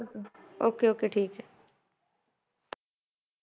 Okay okay ਠੀਕ ਹੈ